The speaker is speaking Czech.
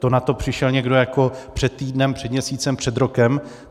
To na to přišel někdo jako před týdnem, před měsícem, před rokem.